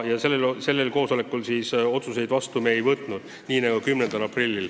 Sellel istungil me otsuseid vastu ei võtnud, nii nagu ka 10. aprillil.